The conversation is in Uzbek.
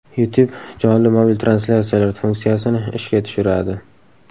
YouTube jonli mobil translyatsiyalar funksiyasini ishga tushiradi.